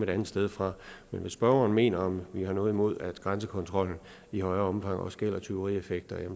andet sted fra men hvis spørgeren mener om vi har noget imod at grænsekontrollen i højere omfang også gælder tyverieffekter